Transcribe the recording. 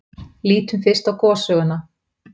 Lítum fyrst á gossöguna.